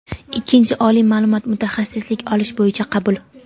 ikkinchi oliy ma’lumot (mutaxassislik) olish bo‘yicha qabul;.